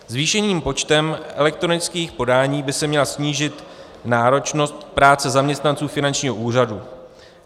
Zvýšeným počtem elektronických podání by se měla snížit náročnost práce zaměstnanců finančního úřadu.